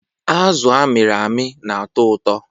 Azụ amịrị amị na-atọ ụtọ.